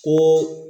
Ko